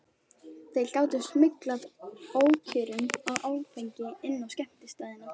Þær gátu smyglað ókjörum af áfengi inn á skemmtistaðina.